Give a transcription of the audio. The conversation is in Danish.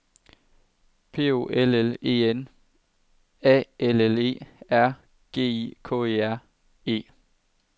P O L L E N A L L E R G I K E R E